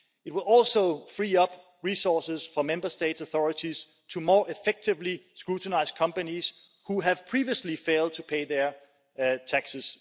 It will also free up resources for Member States' authorities to more effectively scrutinise companies which have previously failed to pay their taxes.